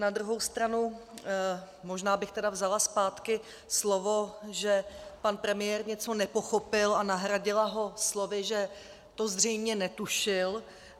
Na druhou stranu možná bych tedy vzala zpátky slovo, že pan premiér něco nepochopil, a nahradila ho slovy, že to zřejmě netušil.